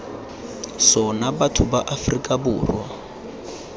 sona batho ba aforika borwa